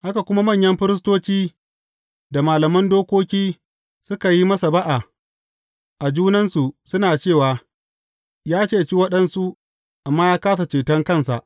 Haka kuma, manyan firistoci da malaman dokoki suka yi masa ba’a a junansu, suna cewa, Ya ceci waɗansu, amma ya kāsa ceton kansa!